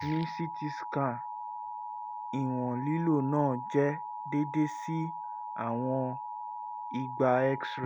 ni ct scan ìwọ̀n lílo náà jẹ́ déédé sí àwọn two hundred x-ray